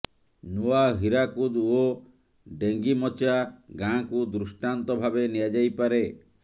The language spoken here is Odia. ନୂଆ ହୀରାକୁଦ ଓ ଡେଙ୍ଗିମଚା ଗାଁକୁ ଦୃଷ୍ଟାନ୍ତ ଭାବେ ନିଆଯାଇପାରେ